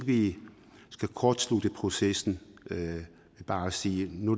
vi skal kortslutte processen ved bare at sige at nu